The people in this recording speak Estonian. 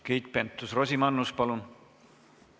Keit Pentus-Rosimannus, palun!